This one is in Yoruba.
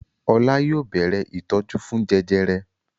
Ọlá yóò bẹ̀rẹ̀ ìtọ́jú fún jẹjẹrẹ.